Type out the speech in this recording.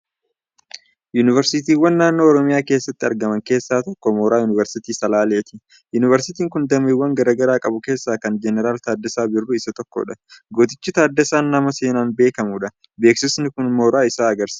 Yuuniversiitiiwwan naannoo Oromiyaa keessatti argaman keessaa tokko Mooraa Yuuniversiitii Salaaleeti. Yuuniversiitiin kun dameewwan garaa garaa qabu keessaa kan Jeneraal Taaddasaa Birruu isa tokkodha. Gootichi Taaddasaan nama seenaan beekamudha. Beeksisni kun mooraa isaa agarsiisa.